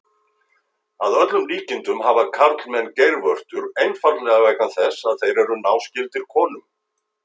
Að öllum líkindum hafa karlmenn geirvörtur einfaldlega vegna þess að þeir eru náskyldir konum.